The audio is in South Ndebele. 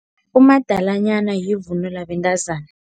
Umadalanyana yivunulo yabentazana.